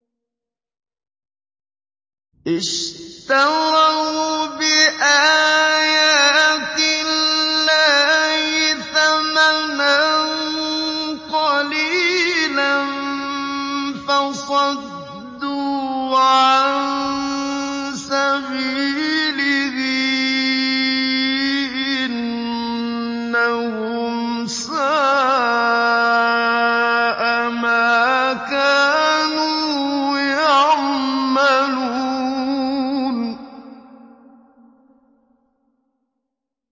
اشْتَرَوْا بِآيَاتِ اللَّهِ ثَمَنًا قَلِيلًا فَصَدُّوا عَن سَبِيلِهِ ۚ إِنَّهُمْ سَاءَ مَا كَانُوا يَعْمَلُونَ